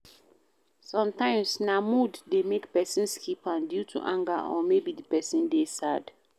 Sometimes na mood de make person skip am due to anger or maybe di person de sad